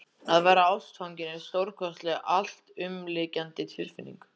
Að verða ástfanginn er stórkostleg, alltumlykjandi tilfinning.